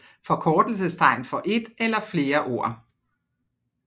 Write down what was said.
Forkortelsestegn for et eller flere ord